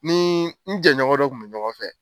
Ni n jɛɲɔgɔn dɔ kun be ɲɔgɔn fɛ